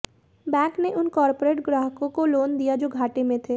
bank ने उन corporate ग्राहकों को लोन दिया जो घाटे में थे